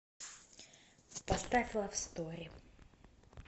поставь лав стори